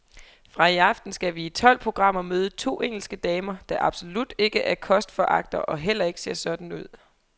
Fra i aften skal vi i tolv programmer møde to engelske damer, der absolut ikke er kostforagtere og heller ikke ser sådan ud.